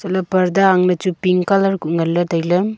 eila parda ang chu pink colour ku ngale taile.